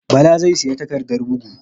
Bala zai siya takardar bugu